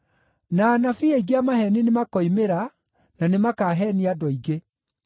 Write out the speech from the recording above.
Na anabii aingĩ a maheeni nĩmakoimĩra na nĩmakaheenia andũ aingĩ.